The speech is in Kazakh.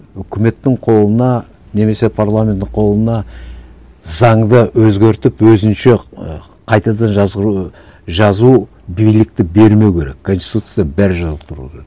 үкіметтің қолына немесе парламенттің қолына заңды өзгертіп өзінше ы қайтадан жазу билікті бермеу керек конституцияда бәрі жазылып тұру керек